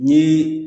Ni